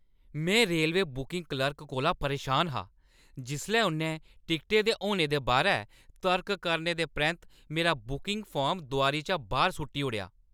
में railway booking clerk कोला परेशान हा जिसलै उʼन्नै टिकटें दे होने दे बारै तर्क करने दे परैंत्त मेरा बुकिंग फार्म दोआरी चा बाह्‌र सु'ट्टी ओड़ेआ।